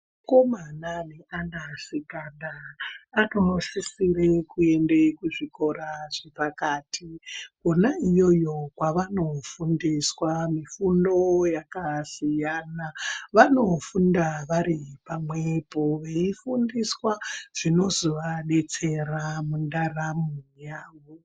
Vakomana neanasikana anosisire kuende kuzvikora zvepakati. Kona iyoyo kwavanofundiswa mifundo yakasiyana. Vanofunda vari pamwepo, veifundiswa zvinozovadetsera mundaramo yavo.